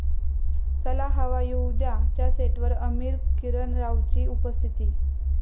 चला हवा येऊ द्या'च्या सेटवर आमिर, किरण रावची उपस्थिती